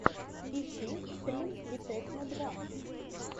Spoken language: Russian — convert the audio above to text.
ищи стрим витекно два